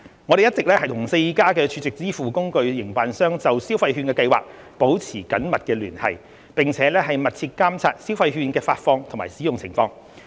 我們一直與4間儲值支付工具營辦商就消費券計劃保持緊密聯繫，並密切監察消費券的發放及使用情況。